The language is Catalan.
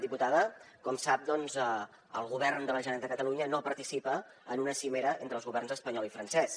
diputada com sap el govern de la generalitat de catalunya no participa en una cimera entre els governs espanyol i francès